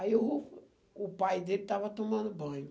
Aí o o pai dele estava tomando banho.